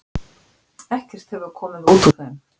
Ekkert hefur komið út úr þeim.